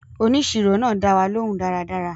Òníṣírò náa dáwà lòún dáradára